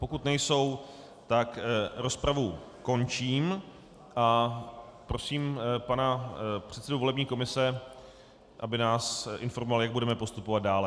Pokud nejsou, tak rozpravu končím a prosím pana předsedu volební komise, aby nás informoval, jak budeme postupovat dále.